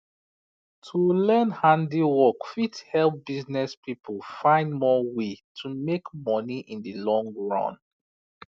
to learn handwork fit help business people find more way to make money in the long run